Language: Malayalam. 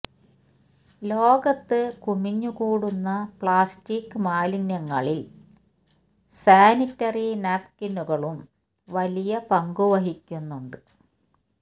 ലോകത്ത് കുമിഞ്ഞ് കൂടുന്ന പ്ലാസ്റ്റിക് മാലിന്യങ്ങളില് സാനിറ്ററി നാപ്കിനുകളും വലിയ പങ്കുവഹിക്കുന്നുണ്ട്